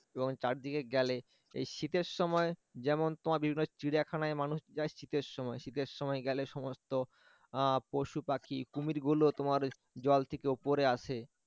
এবং চারিদিকে গেলে এই শীতের সময় যেমন তোমার বিভিন্ন চিড়িয়াখানায় মানুষ যায় শীতের সময় শীতের সময় গেলে সমস্ত আহ পশুপাখি কুমিরগুলো তোমার জল থেকে উপরে আসে